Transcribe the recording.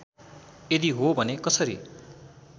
यदि हो भने कसरी